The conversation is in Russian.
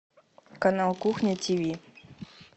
канал кухня тиви